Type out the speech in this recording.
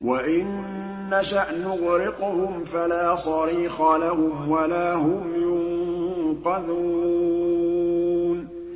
وَإِن نَّشَأْ نُغْرِقْهُمْ فَلَا صَرِيخَ لَهُمْ وَلَا هُمْ يُنقَذُونَ